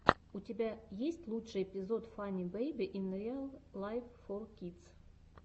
у тебя есть лучший эпизод фанни бэйби ин риал лайф фор кидс